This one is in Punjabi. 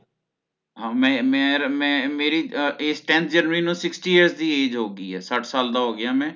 ਹਾਂ ਮੈਂ ਮੇਰ ਮੇਰੀ ਅਹ ਇਸ Time ਜਨਵਰੀ ਨੂੰ Sixty years ਦੀ Age ਹੋਗੀ ਹੈ ਸੱਠ ਸਾਲ ਦਾ ਹੋ ਗਿਆ ਮੈਂ